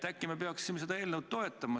Äkki me peaksime seda eelnõu toetama?